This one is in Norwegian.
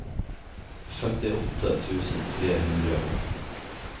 femtiåtte tusen tre hundre og atten